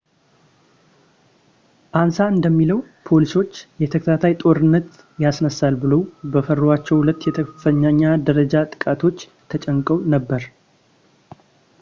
አንሳ እንደሚለው ፖሊሶች የተከታታይ ጦርነት ያስነሳል ብለው በፈሯቸው ሁለት የከፍተኛ ደረጃ ጥቃቶች ተጨንቀው ነበር